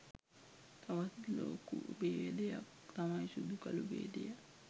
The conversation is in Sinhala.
තවත් ලොකු බේදයක් තමයි සුදු කළු බේදය.